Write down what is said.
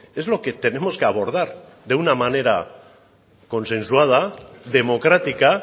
es lo que tenemos que abordar de una manera consensuada democrática